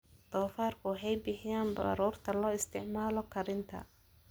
Doofaarku waxay bixiyaan baruurta loo isticmaalo karinta.